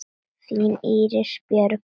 Þín Íris Björk.